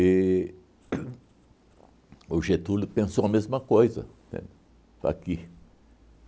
E uhn o Getúlio pensou a mesma coisa, entende, aqui.